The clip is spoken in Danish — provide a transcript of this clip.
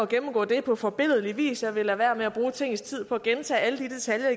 gennemgået det på forbilledlig vis jeg vil lade være med at bruge tingets tid på at gentage alle de detaljer